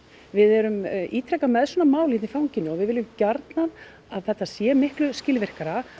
við erum ítrekað með svona mál hérna í fanginu og við viljum gjarnan að þetta sé miklu skilvirkara